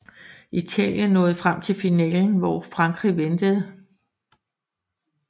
Italien nåede frem til finalen hvor Frankrig ventede